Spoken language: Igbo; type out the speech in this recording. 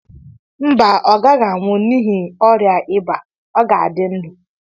mba, ọ gaghị anwụ n'ihi oria ịba, ọ ga-adị ndụ